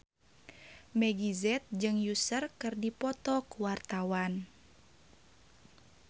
Meggie Z jeung Usher keur dipoto ku wartawan